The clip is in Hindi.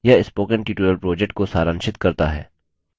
यह spoken tutorial project को सारांशित करता है